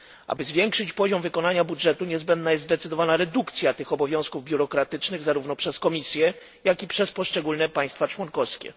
Aby zwiększyć poziom wykonania budżetu niezbędna jest zdecydowana redukcja tych obowiązków biurokratycznych, zarówno przez Komisję, jak i przez poszczególne państwa członkowskie.